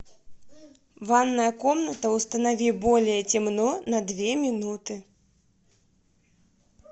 ванная комната установи более темно на две минуты